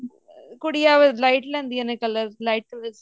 ਕੁੜੀਆਂ light ਲੈਂਦੀਆਂ ਨੇ color light colors